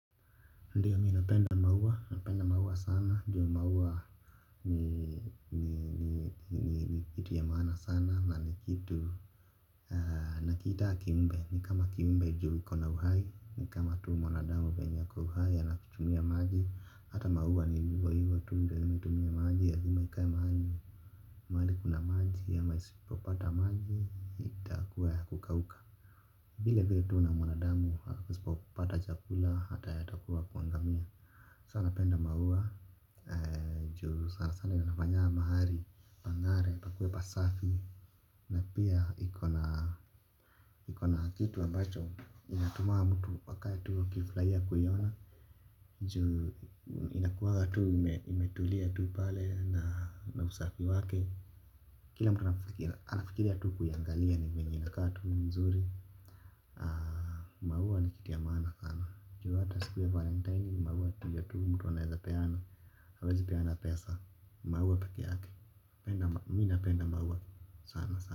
Ndiyo mimi napenda maua napenda maua sana, ju maua ni kitu ya maana sana na ni kitu. Nakiita kiumbe ni kama kiumbe ju ikona uhai ni kama tu mwanadamu venye ako uhai anakitumia maji. Hata maua ni hivyo hivyo tu hutumia maji lazima ikae mahali. Mahali kuna maji amai isipopata maji itakuwa ya kukauka vile vile tu na mwanadamu asipopata chakula hata yeye atakuwa wa kuangamia. Sa napenda maua. Ju sana sana inafanya mahali pang'are pakue pasafi. Na pia iko na kitu ambacho inatumaa mtu akae tu akiflaia kuiona. Ju inakuwanga tuu imetulia tuu pale na usafi wake. Kila mtu anafikiria tu kuiangalia ni venye inakaa tu mzuri. Maua ni kitu ya maana. Ju hata siku ya valentine maua tu hiyo tu mtu anaeza peana. Hawezi peana pesa maua peke yake mimi napenda maua sana sana.